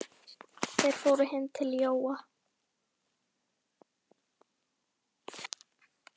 Þeir fóru nú heim til Jóa.